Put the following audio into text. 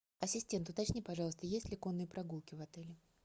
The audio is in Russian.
ассистент уточни пожалуйста есть ли конные прогулки в отеле